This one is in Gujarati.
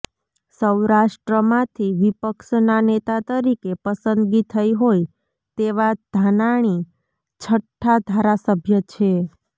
સૌરાષ્ટ્રમાંથી વિપક્ષના નેતા તરીકે પસંદગી થઈ હોય તેવા ધાનાણી છઠ્ઠા ધારાસભ્ય છે